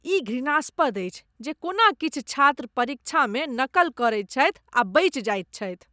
ई घृणास्पद अछि जे कोना किछु छात्र परीक्षामे नकल करैत छथि आ बचि जाएत छथि।